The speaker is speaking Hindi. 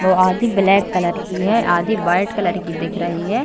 वो आधी ब्लैक कलर की है आधी वाइट की दिख रही है।